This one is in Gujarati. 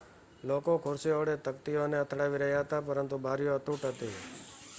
લોકો ખુરશીઓ વડે તકતીઓ ને અથડાવી રહ્યા હતા પરંતુ બારીઓ અતૂટ હતી